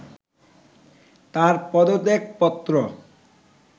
তার পদত্যাগপত্র